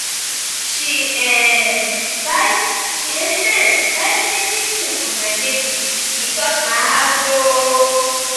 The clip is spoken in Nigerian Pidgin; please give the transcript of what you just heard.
she um buy she um buy plenty tins for my baby e touch my heart o.